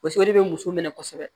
paseke o de be muso minɛ kosɛbɛ